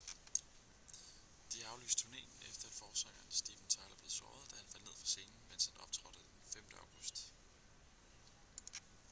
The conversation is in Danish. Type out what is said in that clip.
de har aflyst turnéen efter at forsanger steven tyler blev såret da han faldt ned fra scenen mens han optrådte den 5. august